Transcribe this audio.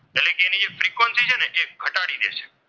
D દેશે.